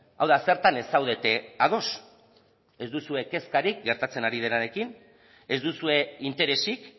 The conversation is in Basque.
hau da zertan ez zaudete ados ez duzue kezkarik gertatzen ari denarekin ez duzue interesik